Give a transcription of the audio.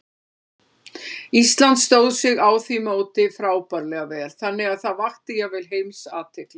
Ísland stóð sig á því móti frábærlega vel, þannig að það vakti jafnvel alheimsathygli.